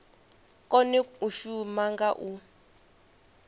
kone u shuma nga u